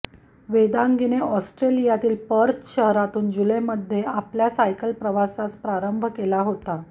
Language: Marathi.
वेदांगीने ऑस्ट्रेलियातील पर्थ शहरातून जुलैमध्ये आपल्या सायकल प्रवासास प्रारंभ केला होता